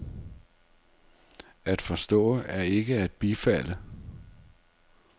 At forstå er ikke at bifalde.